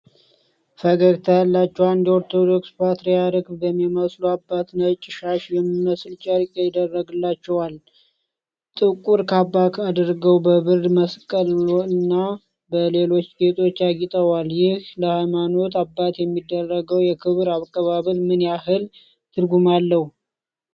ፈገግታ ያላቸው አንድ ኦርቶዶክስ ፓትርያርክ በሚመስሉ አባት ነጭ ሻሽ የሚመስል ጨርቅ ይደረግላቸዋል። ጥቁር ካባ አድርገው በብር መስቀልና በሌሎች ጌጦች አጊጠዋል። ይህ ለሀይማኖት አባት የሚደረገው የክብር አቀባበል ምን ያህል ትርጉም አለው?